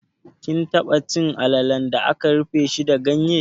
Kin taba cin alalan da aka rufe shi da ganye?